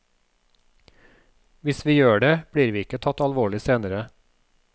Hvis vi gjør det, blir vi ikke tatt alvorlig senere.